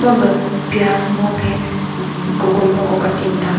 lulü pias mo phe ummm cucumber ko katim ta.